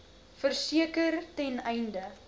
verseker ten einde